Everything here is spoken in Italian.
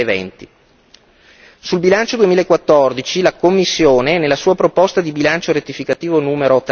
2020. Sul bilancio 2014 la Commissione, nella sua proposta di bilancio rettificativo n.